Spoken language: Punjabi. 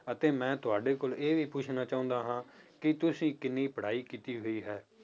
ਅਤੇ ਮੈਂ ਤੁਹਾਡੇ ਕੋਲ ਇਹ ਵੀ ਪੁੱਛਣਾ ਚਾਹੁੰਦਾ ਹਾਂ ਕਿ ਤੁਸੀਂ ਕਿੰਨੀ ਪੜ੍ਹਾਈ ਕੀਤੀ ਹੋਈ ਹੈ।